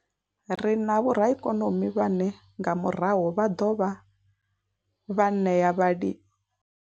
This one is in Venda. Ri na vhoraikonomi vhane nga murahu vha ḓo dovha vha ṋea vhali.